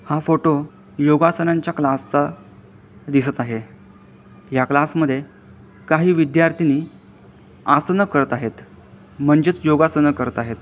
हा फोटो योगासनांच्या क्लास चा दिसत आहे या क्लास मध्ये काही विद्यार्थिनी आसनं करत आहेत म्हणजेचं योगासनं करत आहेत.